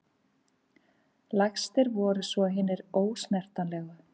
Lægstir voru svo hinir ósnertanlegu.